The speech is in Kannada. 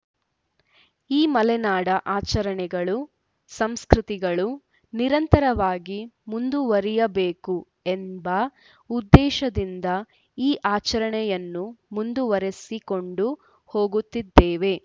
ಈ ಮಲೆನಾಡ ಆಚರಣೆಗಳು ಸಂಸ್ಕೃತಿಗಳು ನಿರಂತರವಾಗಿ ಮುಂದುವರಿಯಬೇಕು ಎಂಬ ಉದ್ದೇಶದಿಂದ ಈ ಆಚರಣೆಯನ್ನು ಮುಂದುವರೆಸಿಕೊಂಡು ಹೋಗುತ್ತಿದ್ದೇವೆ